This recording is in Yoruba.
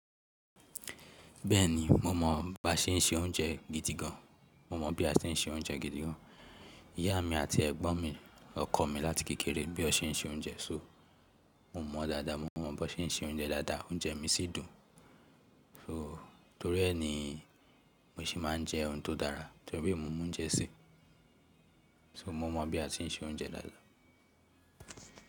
Bẹ́ẹ̀ni mo mọ bá ṣén ń se oúnjẹ gidi gan. Mo mọ bí a se ń se oúnjẹ gidi gan. Ìyá mi àti ẹ̀gbọ́n mi, ọkọ mi láti kékeré bí ọ ṣe ń se oúnjẹ. So mo mọ̀ dáadáa, mo mọ bá ṣe ń se oúnjẹ dáadáa, oúnjẹ mi sì dùn. So torí ẹ ni mo ṣì máa ń jẹ́ oun tó dára, torí e mo mo oúnjẹ sì. So mo mọ bí a ti ń se oúnjẹ dáadáa.